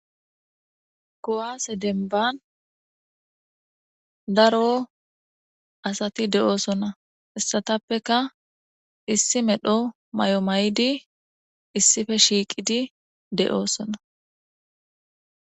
Kowaase denban daro asati de'oosona issatappeka issi medho may'o may'di issife shiiqidi de'oosona.